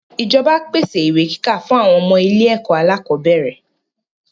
ìjọba pèsè ìwé kíkà fún àwọn ọmọ ilé-ẹ̀kọ́ alákọ̀bẹ́ẹ́rẹ̀.